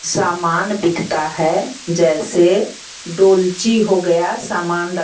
सामान दिखता है जैसे डोलची हो गया सामान रख --